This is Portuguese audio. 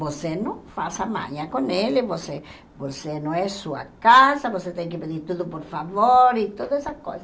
Você não faça manha com ele, você você não é sua casa, você tem que pedir tudo por favor e todas essas coisas.